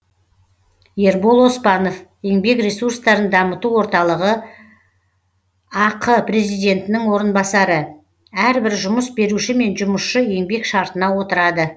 ербол оспанов еңбек ресурстарын дамыту орталығы ақ президентінің орынбасары әрбір жұмыс беруші мен жұмысшы еңбек шартына отырады